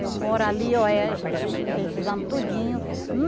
Eu moro ali, oh eh esses esses anos tudinho.